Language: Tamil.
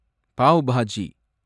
பாவ் பாஜி